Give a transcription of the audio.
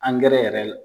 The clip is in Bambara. Angɛrɛ yɛrɛ